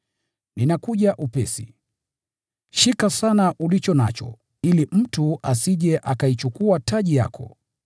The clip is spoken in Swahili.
“Ninakuja upesi. Shika sana ulicho nacho, ili mtu asije akaichukua taji yako.